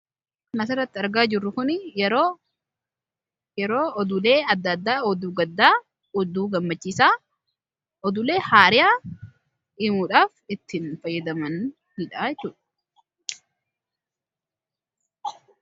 Kan asirratti argaa jirru kuni yeroo oduulee adda addaa oduu gaddaa, oduu gammachiisaa, oduulee haaraa himuudhaaf ittiin fayyadamaniidha jechuudha.